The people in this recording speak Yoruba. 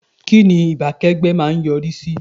Kínni ìbákẹ́gbẹ́ má a ń yọrí sí?